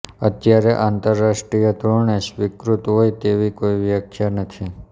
અત્યારે આંતરરાષ્ટ્રીય ધોરણે સ્વીકૃત હોય તેવી કોઈ વ્યાખ્યા નથી